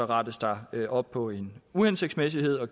rettes der op på en uhensigtsmæssighed og